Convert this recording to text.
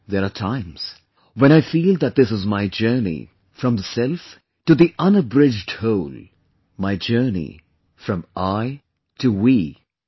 There are times when I feel that this is my journey from the self to the unabridged whole; my journey from 'I' to 'We'